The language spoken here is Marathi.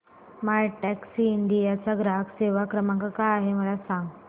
मायटॅक्सीइंडिया चा ग्राहक सेवा क्रमांक काय आहे मला सांग